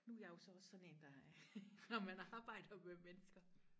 nu er jeg jo så også sådan der er når man arbejder med mennesker